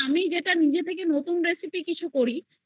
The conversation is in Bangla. recipe কিছু করি আমি না ওই channel এ দিই